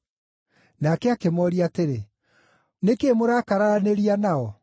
Nake akĩmooria atĩrĩ, “Nĩ kĩĩ mũrakararanĩria nao?”